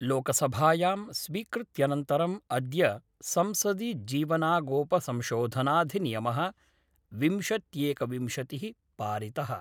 लोकसभायां स्वीकृत्यनन्तरं अद्य संसदि जीवनागोपसंशोधनाधिनियमः विंशत्येकविंशतिः पारितः।